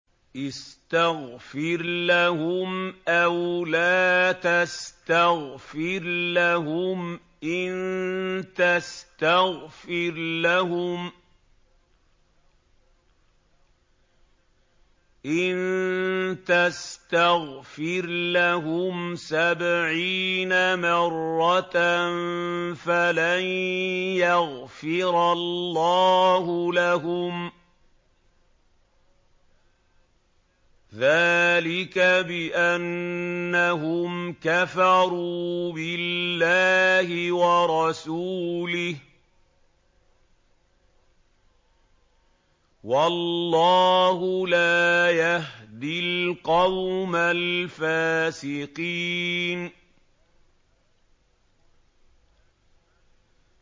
اسْتَغْفِرْ لَهُمْ أَوْ لَا تَسْتَغْفِرْ لَهُمْ إِن تَسْتَغْفِرْ لَهُمْ سَبْعِينَ مَرَّةً فَلَن يَغْفِرَ اللَّهُ لَهُمْ ۚ ذَٰلِكَ بِأَنَّهُمْ كَفَرُوا بِاللَّهِ وَرَسُولِهِ ۗ وَاللَّهُ لَا يَهْدِي الْقَوْمَ الْفَاسِقِينَ